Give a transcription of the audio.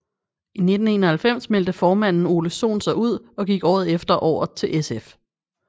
I 1991 meldte formanden Ole Sohn sig ud og gik året efter over til SF